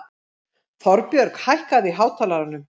Þorbjörg, hækkaðu í hátalaranum.